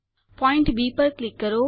point B પર click કરો